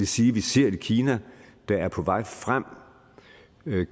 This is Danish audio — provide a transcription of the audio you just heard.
sige vi ser et kina der er på vej frem med